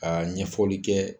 Ka ɲɛfɔli kɛ